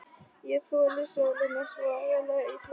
Ég þoli sólina svo agalega illa.